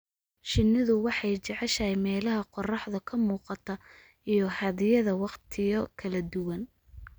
Shinnidu waxay jeceshahay meelaha qorraxdu ka muuqato iyo hadhyada waqtiyo kala duwan.